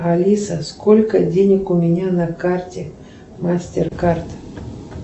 алиса сколько денег у меня на карте мастер кард